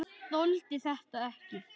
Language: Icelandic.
Þoldi þetta ekki!